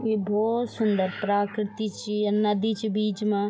ये भोत सुन्दर प्राकृति च य नदी च बीच मा।